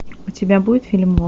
у тебя будет фильм